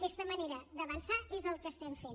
aquesta manera d’avançar és el que estem fent